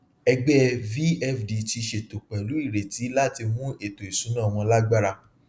ẹgbẹẹ vfd ti ṣètò pẹlú ireti láti mú ètò ìṣúná wọn lagbara